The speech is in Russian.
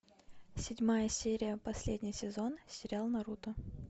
седьмая серия последний сезон сериал наруто